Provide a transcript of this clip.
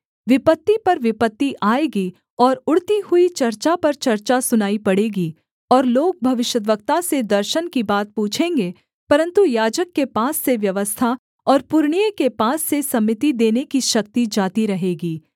विपत्ति पर विपत्ति आएगी और उड़ती हुई चर्चा पर चर्चा सुनाई पड़ेगी और लोग भविष्यद्वक्ता से दर्शन की बात पूछेंगे परन्तु याजक के पास से व्यवस्था और पुरनिये के पास से सम्मति देने की शक्ति जाती रहेगी